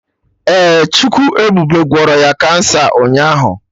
Ee, Chukwu ebube gwọrọ ya kansa ụnyaahụ